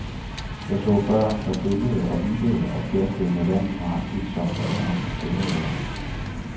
Jeg så børn, der gyngede og vippede og pjaskede med vand nøjagtig som alle andre steder i verden.